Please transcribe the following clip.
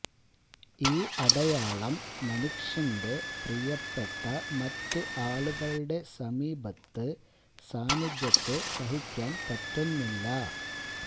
ഈ അടയാളം മനുഷ്യന്റെ പ്രിയപ്പെട്ട മറ്റ് ആളുകളുടെ സമീപത്ത് സാന്നിധ്യത്തെ സഹിക്കാൻ പറ്റുന്നില്ല